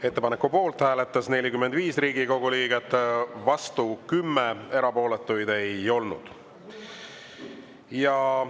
Ettepaneku poolt hääletas 45 Riigikogu liiget, vastu 10, erapooletuid ei olnud.